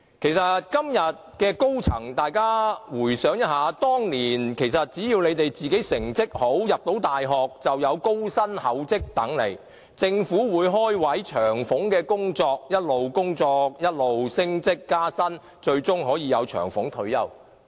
事實上，今天的高層可以回想一下，當年只要你們自己成績好，能入讀大學，便有高薪厚職等着你們，政府會開設職位，工作有長俸，不斷工作，不斷升職加薪，最終可享長俸退休。